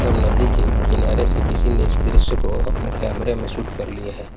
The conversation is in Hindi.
और नदी के किनारे से किसी ने इस दृश्य को अपने कैमरे में शूट कर लिया है।